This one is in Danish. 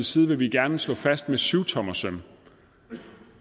side vil vi gerne slå fast med syvtommersøm